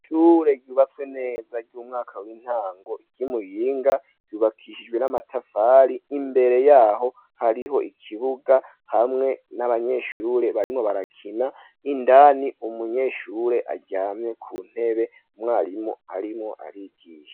Ishure ryubatswe neza ry'umwaka w'intango ryi Muyinga ryubakishijwe n'amatafari imbere yaho hariho ikibuga hamwe n'abanyeshure barimo barakina indani umunyeshure aryamye ku ntebe mwarimu arimo arigisha.